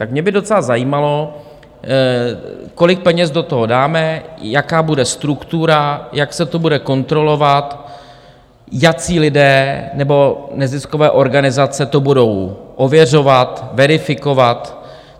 Tak mě by docela zajímalo, kolik peněz do toho dáme, jaká bude struktura, jak se to bude kontrolovat, jací lidé nebo neziskové organizace to budou ověřovat, verifikovat.